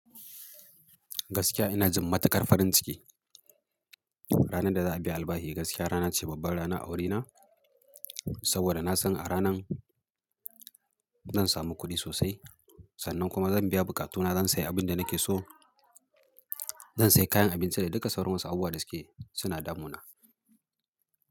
Gaskiya ina jin matukar farin ciki. Ranar da za a biya albahi gaskiya rana ce babbar rana a wurina saboda na san a ranan zan samu kuɗi sosai sannan kuma zan biya buƙatuna. Zan sayi abin da nake so, zan sayi kayan abinci da duka sauran wasu abubuwa da suke suna damuna.